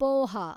poha